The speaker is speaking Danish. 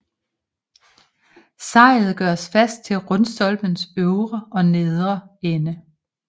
Sejlet gøres fast til rundstolpens øvre og nedre ende